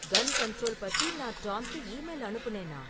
கன் control பத்தி நான் டாம்க்கு ஈமெயில் அனுப்புனேனா?